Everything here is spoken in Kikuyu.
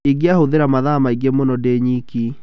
Ingĩahũthira mathaa maingĩ mũno ndĩ nyiike.